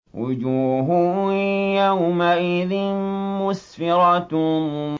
وُجُوهٌ يَوْمَئِذٍ مُّسْفِرَةٌ